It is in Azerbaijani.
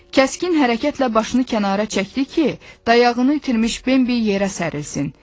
Kəskin hərəkətlə başını kənara çəkdi ki, dayağını itirmiş Benbi yerə sərilsin.